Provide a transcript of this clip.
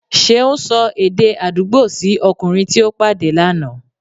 Ṣeun sò èdè àdúgbò sí okùnrin tí o pàdé lànà